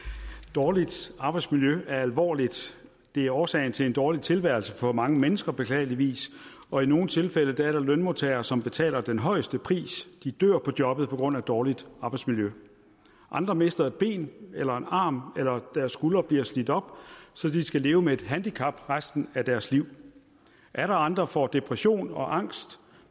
dårligt arbejdsmiljø er alvorligt det er årsagen til en dårlig tilværelse for mange mennesker beklageligvis og i nogle tilfælde er der lønmodtagere som betaler den højeste pris de dør på jobbet på grund af dårligt arbejdsmiljø andre mister et ben eller en arm eller deres skuldre bliver slidt op så de skal leve med et handicap resten af deres liv atter andre får depression og angst